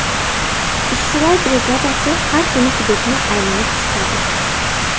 Ishchilar brigadasi har kuni hududni aylanib chiqadi.